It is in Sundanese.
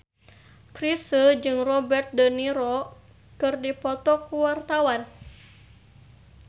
Chrisye jeung Robert de Niro keur dipoto ku wartawan